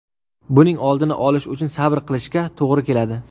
Buning oldini olish uchun sabr qilishga to‘g‘ri keladi.